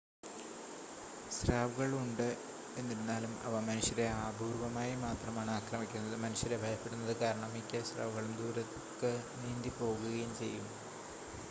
സ്രാവുകൾ ഉണ്ട് എന്നിരുന്നാലും അവ മനുഷ്യരെ അപൂർവ്വമായി മാത്രമാണ് ആക്രമിക്കുന്നത് മനുഷ്യരെ ഭയപ്പെടുന്നത് കാരണം മിക്ക സ്രാവുകളും ദൂരേക്ക് നീന്തി പോകുകയും ചെയ്യും